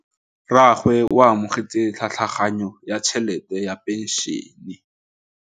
Rragwe o amogetse tlhatlhaganyô ya tšhelête ya phenšene.